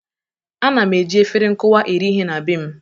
Ana m eji efere nkụwa eri ihe na be m.